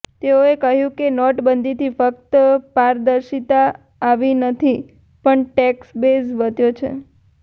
તેઓએ કહ્યું કે નોટબંધીથી ફક્ત પારદર્શિતા આવી નથી પણ ટેક્સ બેઝ વધ્યો છે